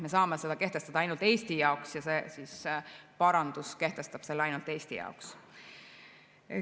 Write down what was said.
Me saame seda kehtestada ainult Eesti jaoks ja see parandus kehtestab selle ainult Eesti jaoks.